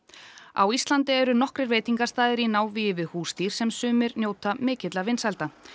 á Íslandi eru nokkrir veitingastaðir í návígi við húsdýr sem sumir njóta mikilla vinsælda